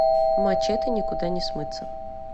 мачете никуда не смыться